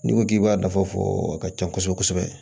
N'i ko k'i b'a dafa fɔ a ka ca kosɛbɛ kosɛbɛ